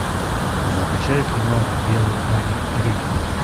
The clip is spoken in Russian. закачай кино белый парень рик